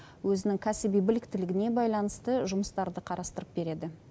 өзінің кәсіби біліктілігіне байланысты жұмыстарды қарастырып береді